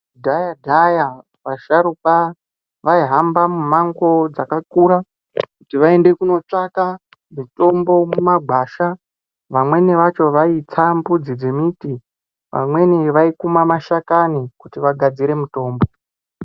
Kudhaya-dhaya vasharukwa vaihamba mumango dzakakura kuti vaende kundotsvaka mutombo mumagwasha vamweni vaitsa mbudzi dzembuti. Vamweni vaikuma mashakani kuti vagadzire mitombo.